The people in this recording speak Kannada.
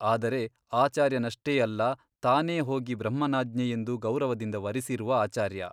ಆದರೆ ಆಚಾರ್ಯನಷ್ಟೇ ಅಲ್ಲ ತಾನೇ ಹೋಗಿ ಬ್ರಹ್ಮನಾಜ್ಞೆಯೆಂದು ಗೌರವದಿಂದ ವರಿಸಿರುವ ಆಚಾರ್ಯ.